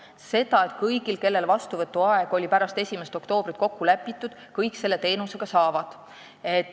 Kõik need, kelle kokkulepitud vastuvõtuaeg oli pärast 1. oktoobrit, oma teenuse ka said.